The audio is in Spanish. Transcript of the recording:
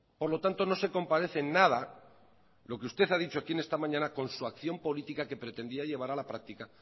por lo tanto no se comparece en nada lo que usted ha dicho aquí esta mañana con su acción política que pretendía llevar a la práctica